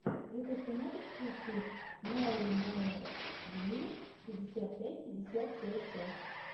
ютюб ты можешь включить ноумэдйу пятьдесят пять пятьдесят пять пять